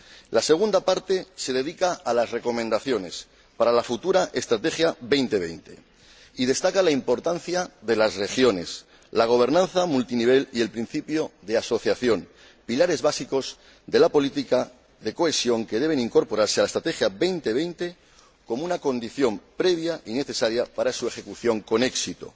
La segunda parte se dedica a las recomendaciones para la futura Estrategia Europa 2020 y destaca la importancia de las regiones, la gobernanza multinivel y el principio de asociación, pilares básicos de la política de cohesión que deben incorporarse a la Estrategia Europa 2020 como una condición previa y necesaria para su ejecución con éxito.